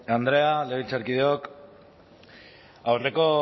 andrea legebiltzarkideok aurreko